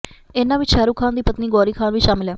ਇਨ੍ਹਾਂ ਵਿੱਚ ਸ਼ਾਹਰੁਖ ਖਾਨ ਦੀ ਪਤਨੀ ਗੌਰੀ ਖਾਨ ਵੀ ਸ਼ਾਮਲ ਹੈ